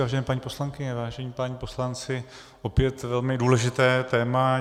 Vážené paní poslankyně, vážení páni poslanci, opět velmi důležité téma.